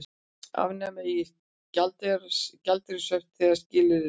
Afnema eigi gjaldeyrishöft þegar skilyrði leyfa